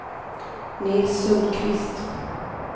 Nils Sundqvist